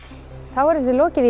þá er þessu lokið